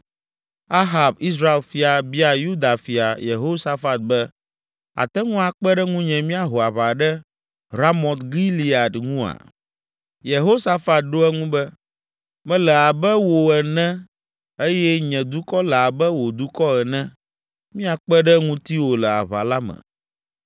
Ahab, Israel fia, bia Yuda fia, Yehosafat be, “Àte ŋu akpe ɖe ŋunye míaho aʋa ɖe Ramot Gilead ŋua?” Yehosafat ɖo eŋu be, “Mele abe wò ene eye nye dukɔ le abe wò dukɔ ene. Míakpe ɖe ŋutiwò le aʋa la me.”